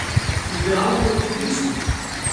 Igramo pod pritiskom.